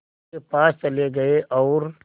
के पास चले गए और